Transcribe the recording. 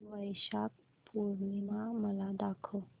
वैशाख पूर्णिमा मला दाखव